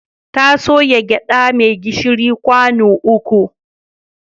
Ta soya gyaɗa mai gishiri kwano uku.